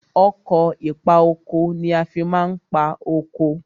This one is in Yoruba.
Ọkọ̀ ìpa oko ni a fi ma ń pa oko.